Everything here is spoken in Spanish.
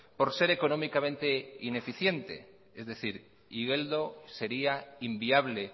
por ser económicamente ineficiente es decir igeldo sería inviable